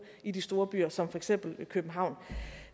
i de store byer som for eksempel københavn